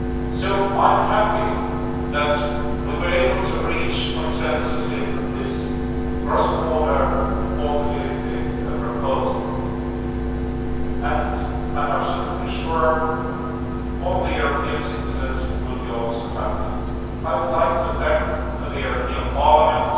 So, I am happy that we were able to reach consensus in this cross border portability proposal, and I am absolutely sure that all the European citizens will also be happy. I would like to thank the European Parliament,